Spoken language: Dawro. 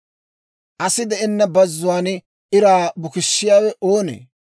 Asi de'enna bazzuwaan iraa bukissiyaawe oonee?